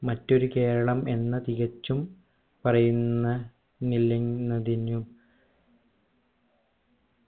മറ്റൊരു കേരളം എന്ന തികച്ചും പറയുന്ന നിലനിന്നതിനു